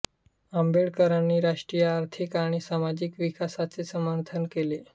आंबेडकरांनी राष्ट्रीय आर्थिक आणि सामाजिक विकासाचे समर्थन केले